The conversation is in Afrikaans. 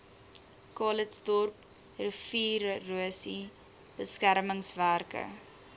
calitzdorp riviererosie beskermingswerke